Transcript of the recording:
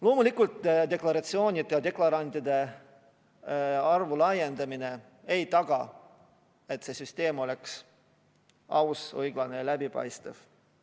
Loomulikult deklarantide arvu suurendamine ei taga, et see süsteem on aus, õiglane ja läbipaistev.